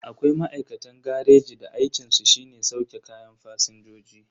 Akwai ma'aikatan gareji da aikinsu shine sauke kayan fasinjoji.